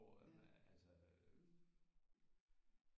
Hvor altså